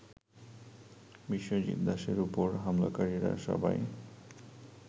বিশ্বজিৎ দাসের উপর হামলাকারীরা সবাই